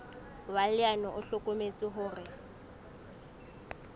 wa leano o hlokometse hore